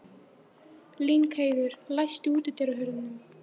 Lyngheiður, læstu útidyrunum.